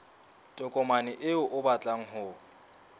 tokomane eo o batlang ho